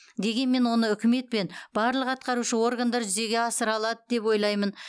дегенмен оны үкімет пен барлық атқарушы органдар жүзеге асыра алады деп ойлаймын